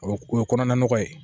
O o ye kɔnɔna nɔgɔ ye